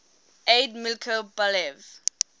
aide milko balev